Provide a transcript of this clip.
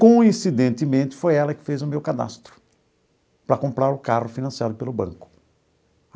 Coincidentemente, foi ela que fez o meu cadastro para comprar o carro financiado pelo Banco.